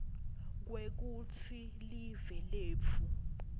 kwekutsi live letfu